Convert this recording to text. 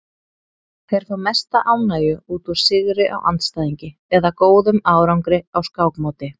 Þeir fá mesta ánægju út úr sigri á andstæðingi eða góðum árangri á skákmóti.